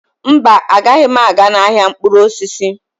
Mba, anaghị m aga n'ahịa mkpụrụ osisi.